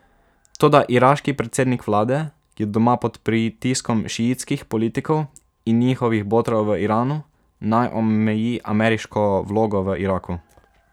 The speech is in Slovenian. Toda iraški predsednik vlade je doma pod pritiskom šiitskih politikov in njihovih botrov v Iranu, naj omeji ameriško vlogo v Iraku.